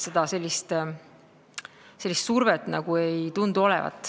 Sellist survet ei tundu olevat.